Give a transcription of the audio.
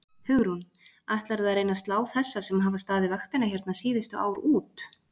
Hugrún: Ætlarðu að reyna að slá þessa sem hafa staðið vaktina hérna síðustu ár út?